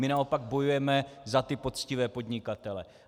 My naopak bojujeme za ty poctivé podnikatele.